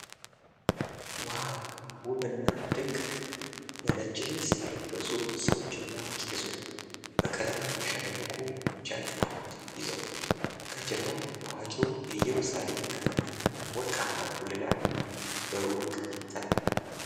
ዋው፣ ውብና ድንቅ ነው! በነጭ ልብስ የለበሱ ሰዎችና ቄሶች በቀለማት ያሸበረቁ ጃንጥላዎች ይዘዋል። ከጀርባ ታዋቂው የኢየሩሳሌም ከተማና ወርቃማው ጉልላት በሩቅ ይታያሉ።